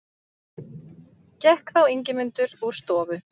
Gekk þá Ingimundur úr stofu.